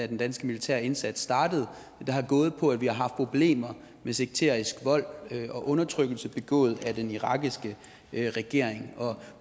den danske militære indsats startede der har gået på at vi har haft problemer med sekterisk vold og undertrykkelse begået af den irakiske regering